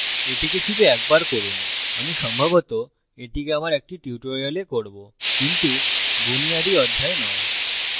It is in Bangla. এটিকে শুধু একবার করুন আমি সম্ভবত এটিকে আমার একটি tutorial করবোকিন্তু বুনিয়াদি অধ্যায়ে নয়